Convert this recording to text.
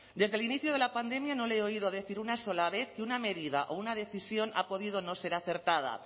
desde inicio de la pandemia no le he oído decir una sola vez que una medida o una decisión ha podido no ser acertada